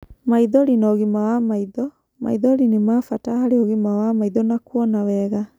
Maithori na ũgima wa maitho:maithori nĩ ma bata harĩ ũgima wa maitho na kuona wega.